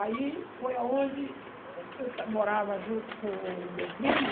Aí foi onde eu morava junto com o meu primo.